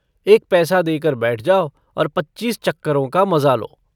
एक पैसा देकर बैठ जाओ और पच्चीस चक्करों का मजा लो।